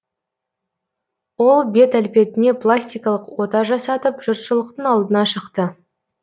ол бет әлпетіне пластикалық ота жасатып жұртшылықтың алдына шықты